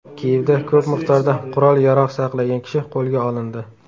Kiyevda ko‘p miqdorda qurol-yarog‘ saqlagan kishi qo‘lga olindi.